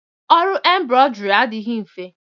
Ọrụ embrọdị adịghị mfe